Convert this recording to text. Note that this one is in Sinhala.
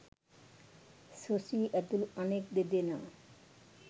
සුසී ඇතුළු අනෙක් දෙදෙනා